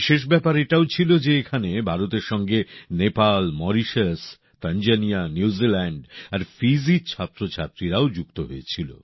বিশেষ ব্যাপার এটাও ছিল যে এখানে ভারতের সঙ্গে নেপাল মরিশাস তানজানিয়া নিউজিল্যাণ্ড আর ফিজির ছাত্রছাত্রীরাও যুক্ত হয়েছিল